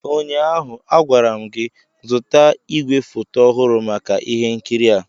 ụnyaahụ, a gwara m gị, zụta igwefoto ọhụrụ maka ihe nkiri a!